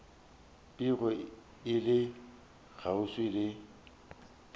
bego e le kgauswi le